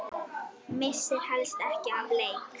Missir helst ekki af leik.